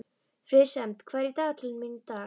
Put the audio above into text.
Friðsemd, hvað er í dagatalinu mínu í dag?